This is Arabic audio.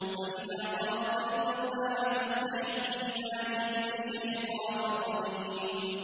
فَإِذَا قَرَأْتَ الْقُرْآنَ فَاسْتَعِذْ بِاللَّهِ مِنَ الشَّيْطَانِ الرَّجِيمِ